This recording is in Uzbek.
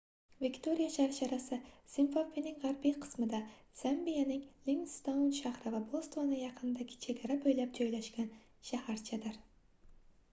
viktoriya sharsharasi zimbabvening gʻarbiy qismida zambiyaning livingstoun shahri va botsvana yaqinidagi chegara boʻylab joylashgan shaharchadir